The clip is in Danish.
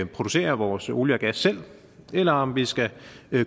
producere vores olie og gas selv eller om vi skal